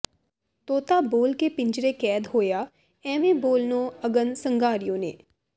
ਤੋਤਾ ਬੋਲ ਕੇ ਪਿੰਜਰੇ ਕੈਦ ਹੋਇਆ ਐਵੇਂ ਬੋਲਨੋ ਅਗਨ ਸੰਘਾਰਿਉ ਨੇ